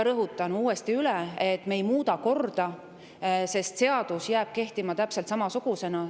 Rõhutan uuesti üle, et me ei muuda korda, seadus jääb kehtima täpselt samasugusena.